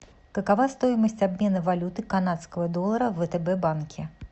какова стоимость обмена валюты канадского доллара в втб банке